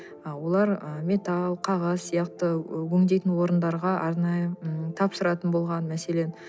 олар ы металл қағаз сияқты өңдейтін орындарға арнайы м тапсыратын болған мәселен